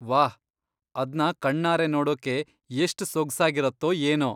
ವಾಹ್! ಅದ್ನ ಕಣ್ಣಾರೆ ನೋಡೋಕೆ ಎಷ್ಟ್ ಸೊಗ್ಸಾಗಿರತ್ತೋ ಏನೋ.